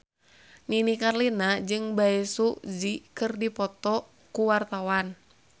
Nini Carlina jeung Bae Su Ji keur dipoto ku wartawan